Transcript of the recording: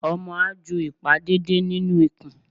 Omo a jú ipá deede ninú ikùn